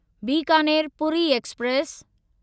Bikaner Puri express